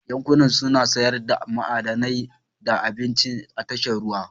Yankunan suna sayar da ma'adanai da abinci a tashar ruwa